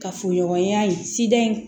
Ka furu ɲɔgɔnya in sida in